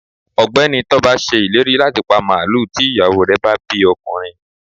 ọgbẹni Toba sé ìlérí latí pá maluú tí iyawo re bá bí ọkunrín